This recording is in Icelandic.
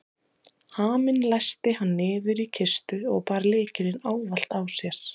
Haminn læsti hann niður í kistu og bar lykilinn ávallt á sér.